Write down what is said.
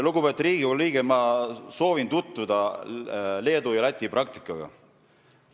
Lugupeetud Riigikogu liige, ma soovitan teil tutvuda Leedu ja Läti praktikaga.